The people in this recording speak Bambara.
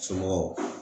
Somɔgɔw